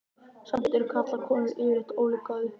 Samt eru karlar og konur yfirleitt ólík að upplagi.